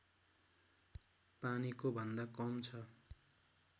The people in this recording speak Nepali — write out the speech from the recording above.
पानीको भन्दा कम छ